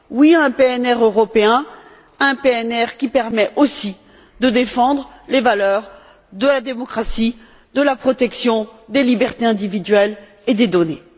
Oui à un PNR européen, un PNR qui permette aussi de défendre les valeurs de la démocratie et de la protection des libertés individuelles et des données.